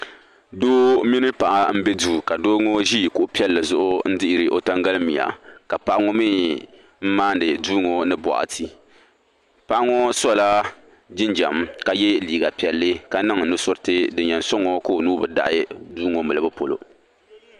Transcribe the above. Doo mini paɣa m be duu ka doo ŋɔ ʒi kuɣu piɛlli zuɣu n dihiri o tangalimia ka paɣa ŋɔ mee m maani duu ŋɔ ni boɣati paɣa ŋɔ sola jinjiɛm ka ye liiga piɛlli ka niŋ nusuriti din yen soŋ o ka o nuu bi daɣi duu ŋɔ milibu polo.